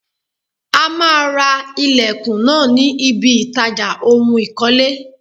A máa ra ilẹ̀kùn náà ní ibiy ìtajà ohun ìkọ́lé.